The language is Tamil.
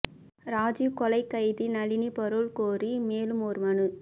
ராஜீவ் கொலை கைதி நளினி பரோல் கோரி மேலும் ஒரு மனு